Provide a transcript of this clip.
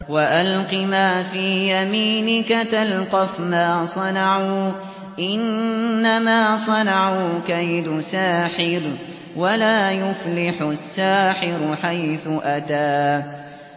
وَأَلْقِ مَا فِي يَمِينِكَ تَلْقَفْ مَا صَنَعُوا ۖ إِنَّمَا صَنَعُوا كَيْدُ سَاحِرٍ ۖ وَلَا يُفْلِحُ السَّاحِرُ حَيْثُ أَتَىٰ